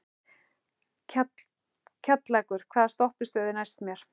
Kjallakur, hvaða stoppistöð er næst mér?